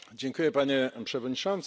Panie Przewodniczący!